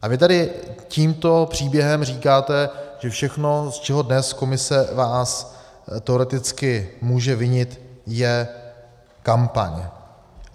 A vy tady tímto příběhem říkáte, že všechno, z čeho dnes Komise vás teoreticky může vinit, je kampaň.